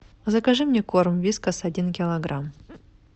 закажи мне корм вискас один килограмм